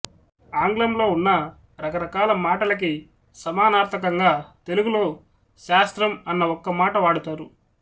ఆంగ్లంలో ఉన్న రకరకాల మాటలకి సమానార్ధకంగా తెలుగులో శాస్త్రం అన్న ఒక్క మాట వాడతారు